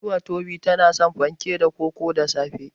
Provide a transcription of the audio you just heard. Oluwatobi tana son fanke da koko da safe.